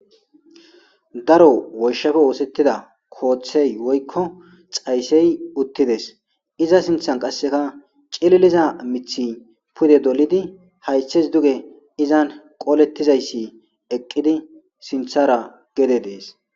Daro woyshshappe oothetida koothey woykko xaysey uttides Iza sinthan Qaseka Cilliliza mithiy Qaseka Pude dolli haythes duge Qolletizaysi eqidi Sinthara Gede dess